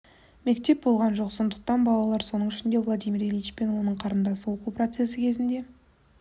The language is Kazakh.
мектеп болған жоқ сондықтан балалар соның ішінде владимир ильич пен оның қарындасы оқу процесі кезінде